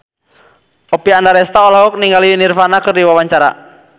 Oppie Andaresta olohok ningali Nirvana keur diwawancara